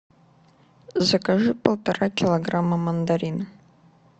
закажи полтора килограмма мандарин